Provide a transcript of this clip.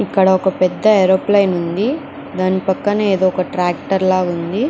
ఇక్కడ ఒక పెద్ద ఏరోప్లేన్ ఉంది. దాని పక్కన ఏదో ఒక ట్రాక్టర్ లాగా ఉంది.